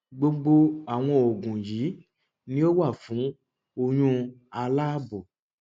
gbogbo àwọn oògùn yìí ni ó wà fún oyún aláàbò